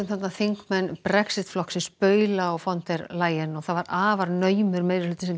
þarna þingmenn Brexit flokksins baula á von der Leyen og það var afar naumur meirihluti sem